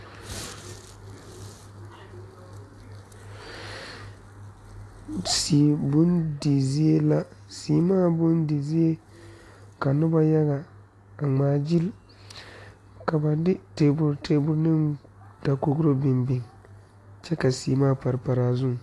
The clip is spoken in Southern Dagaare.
Sii bondi zie la seemaa bondi zie ka noba yaga a ŋmaagyili ka ba de table table dakogro biŋ biŋ kyɛ ka seemaa pare pare a zuŋ.